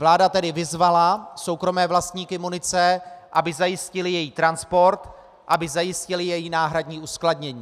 Vláda tedy vyzvala soukromé vlastníky munice, aby zajistili její transport, aby zajistili její náhradní uskladnění.